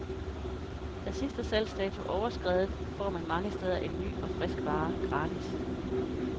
Er sidste salgsdato overskredet, får man mange steder en ny og frisk vare, gratis.